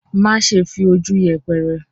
má ṣe fi ojú yẹpẹrẹ.